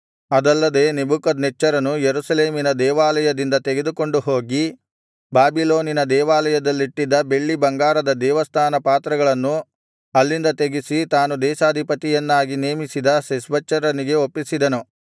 ಅದಲ್ಲದೆ ನೆಬೂಕದ್ನೆಚ್ಚರನು ಯೆರೂಸಲೇಮಿನ ದೇವಾಲಯದಿಂದ ತೆಗೆದುಕೊಂಡುಹೋಗಿ ಬಾಬಿಲೋನಿನ ದೇವಾಲಯದಲ್ಲಿಟ್ಟಿದ್ದ ಬೆಳ್ಳಿಬಂಗಾರದ ದೇವಸ್ಥಾನ ಪಾತ್ರೆಗಳನ್ನು ಅಲ್ಲಿಂದ ತೆಗಿಸಿ ತಾನು ದೇಶಾಧಿಪತಿಯನ್ನಾಗಿ ನೇಮಿಸಿದ ಶೆಷ್ಬಚ್ಚರನಿಗೆ ಒಪ್ಪಿಸಿದನು